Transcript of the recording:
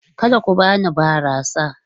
Kada ku bani barasa!